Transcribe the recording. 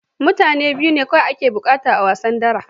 Mutum biyu ne kawai ake buƙata a wasan dara